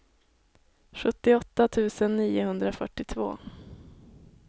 sjuttioåtta tusen niohundrafyrtiotvå